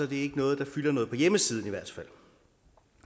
det ikke noget der fylder noget ikke på hjemmesiden i hvert fald